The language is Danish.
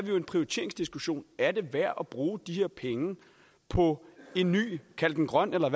jo en prioriteringsdiskussion er det værd at bruge de her penge på en ny kald den grøn eller